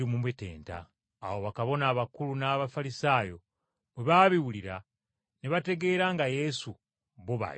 Awo bakabona abakulu n’Abafalisaayo bwe baabiwulira ne bategeera nga Yesu bo b’ayogerako.